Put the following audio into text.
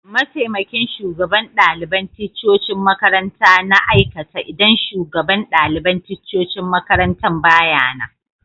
Mataimakin shugaban dalibain ticcocin makaranta na aikata idan shugaban dalibain ticcocin makarantan ba ya nan